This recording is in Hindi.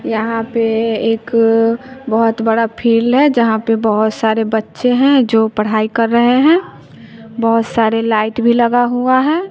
यहां पे एक बहोत बड़ा फील्ड है जहां पे बहोत सारे बच्चे हैं जो पढ़ाई कर रहे हैं बहोत सारे लाइट भी लगा हुआ है।